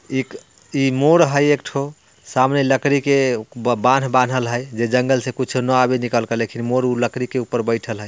इक इ मोर हई एक ठो सामने लकड़ी के बांध-बांधल है जे जंगल से कुछो न आवे निकल के लेकिन मोर अ लकड़ी के ऊपर बईठल है।